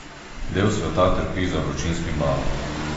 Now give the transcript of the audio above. Del sveta trpi za vročinskim valom.